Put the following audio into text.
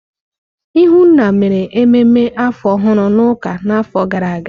Ihunna mere ememe afọ ọhụrụ n'ụka n'afọ gara aga.